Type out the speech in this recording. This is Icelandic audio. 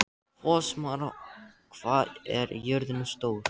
Fossmar, hvað er jörðin stór?